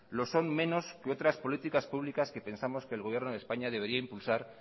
lo son menos que otras políticas públicas que pensamos que el gobierno de españa debería impulsar